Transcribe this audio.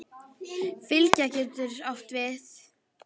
Fylgja getur átt við